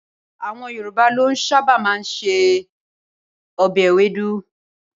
Awọn Yorùbá ló ṣábà máa ń ṣe obe Ewédú.